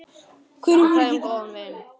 Við kveðjum góðan vin.